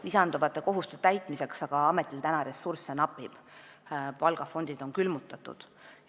Lisanduvate kohustuste täitmiseks napib aga ametil ressursse, palgafondid on külmutatud.